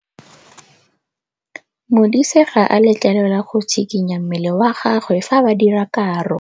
Modise ga a letlelelwa go tshikinya mmele wa gagwe fa ba dira karô.